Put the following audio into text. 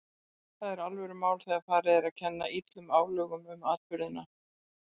Það er alvörumál þegar farið er að kenna illum álögum um atburðina.